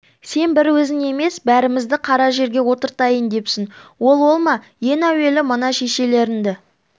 сен бір өзің емес бәрімізді қара жерге отыртайын депсің ол ол ма ен әуелі мына шешелеріңді